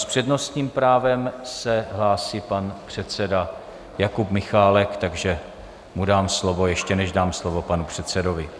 S přednostním právem se hlásí pan předseda Jakub Michálek, takže mu dám slovo, ještě než dám slovo panu předsedovi.